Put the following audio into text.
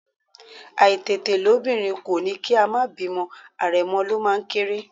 Àìtètelóbìnrin kò ní kí a má bímọ̀, àrẹ̀mọ ló máa ń kéré